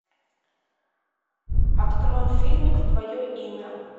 открой фильмик твое имя